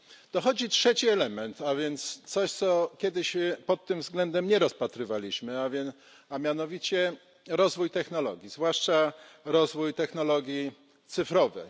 Dochodzi trzeci element, a więc coś, czego kiedyś pod tym względem nie rozpatrywaliśmy, a mianowicie rozwój technologii, zwłaszcza rozwój technologii cyfrowych.